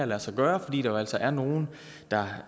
lade sig gøre fordi der jo altså er nogle der